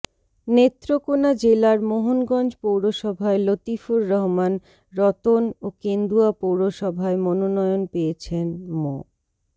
নেত্রকোণা জেলার মোহনগঞ্জ পৌরসভায় লতিফুর রহমান রতন ও কেন্দুয়া পৌরসভায় মনোনয়ন পেয়েছেন মো